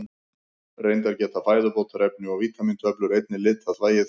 Reyndar geta fæðubótarefni og vítamíntöflur einnig litað þvagið.